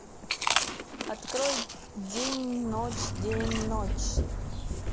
открой день ночь день ночь